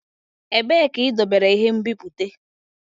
Ebee ka idobere ihe nbipute?